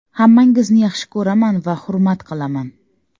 Hammangizni yaxshi ko‘raman va hurmat qilaman.